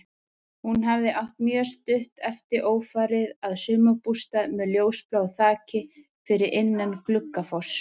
Hún hafði átt mjög stutt eftir ófarið að sumarbústað með ljósbláu þaki, fyrir innan Gluggafoss.